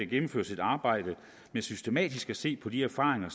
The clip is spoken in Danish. gennemføres et arbejde med systematisk at se på de erfaringer